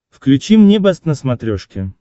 включи мне бэст на смотрешке